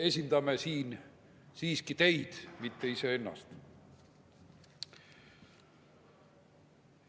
Me esindame siin siiski teid, mitte iseennast.